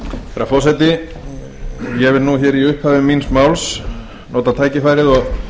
herra forseti ég vil í upphafi míns máls nota tækifærið og